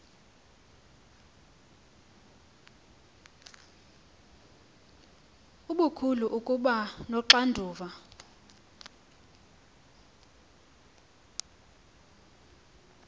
okukhulu ukuba noxanduva